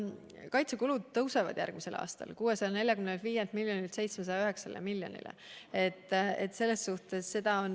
Kaitsekulud tõusevad järgmisel aastal 645 miljonilt eurolt 709 miljonile eurole.